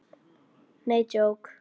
Nei, djók.